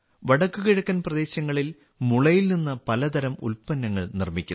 വടക്കുകിഴക്കൻ പ്രദേശങ്ങളിൽ മുളയിൽ നിന്ന് പലതരം ഉൽപ്പന്നങ്ങൾ നിർമ്മിക്കുന്നു